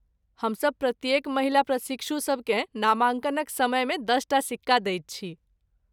हमसब प्रत्येक महिला प्रशिक्षु सबकेँ नामाङ्कनक समयमे दशटा सिक्का दैत छी।